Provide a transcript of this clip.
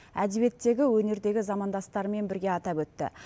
әдебиеттегі өнердегі замандастарымен бірге атап өтті